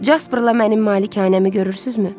"Casperlə mənim malikanəmi görürsüzmü?